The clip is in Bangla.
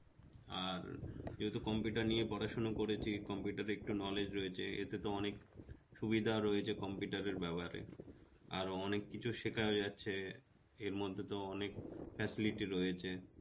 আর যেহেতু computer নিয়ে পড়াশোনা করেছে computer এর একটু knowledge রয়েছে এতে তো অনেক সুবিধা রয়েছে computer এর ব্যাপারে, আরো অনেককিছু শেখা হয়ে যাচ্ছে এরমধ্যে তো অনেক facility রয়েছে